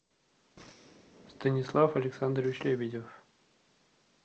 станислав александрович лебедев